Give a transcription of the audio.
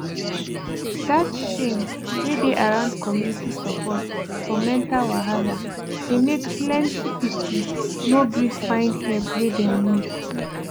that shame wey dey around community support for mental wahala dey make plenty people no gree find help wey dem need